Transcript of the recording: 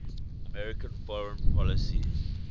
american foreign policy